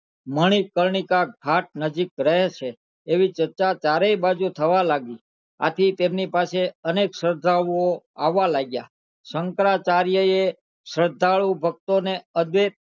મણિકર્ણિકા ઘાટ નજીક રહે છે એવી શ્રદ્ધા ચારે બાજુ થવા લાગી છે આથી તેમની પાસે અનેક શ્રદ્ધાળુ આવવા લાગ્યા શંકરાચાર્ય એ શ્રદ્ધાળુ ભક્તો ને અદૈત